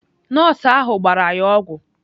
Nọọsụ ahụ gbara ya ọgwụ.